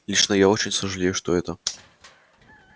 лично я очень сожалею что это